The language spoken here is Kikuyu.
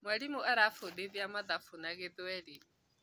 Mwalimũ arafũndithia mathabu na gĩthũweli